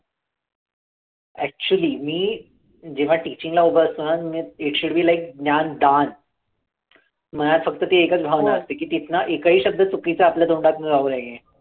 actually मी जेव्हा teaching ला उभं असतो ना मी it should be like ज्ञानदान मनात फक्त ते एकच भावना असते की तिथनं एकही शब्द चुकीचा जाऊ आपल्या तोंडातनं जाऊ नये.